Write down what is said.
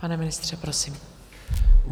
Pane ministře, prosím.